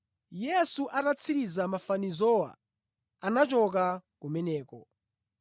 Yesu atatsiriza mafanizowa anachoka kumeneko.